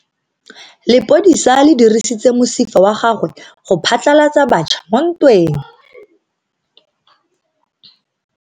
Lepodisa le dirisitse mosifa wa gagwe go phatlalatsa batšha mo ntweng.